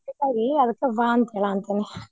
.